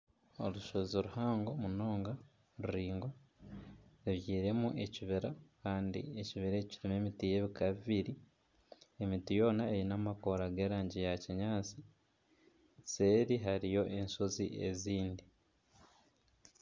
Orushozi ruhango munonga ruraingwa rubyirwemu ekibira kandi ekibira eki kyine emiti y'ebiika bibiri, emiti yoona eine amakoora g'erangi ya kinyaatsi seeri hariyo enshozi ezindi.